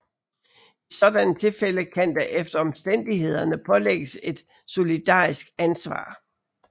I sådanne tilfælde kan der efter omstændighederne pålægges et solidarisk ansvar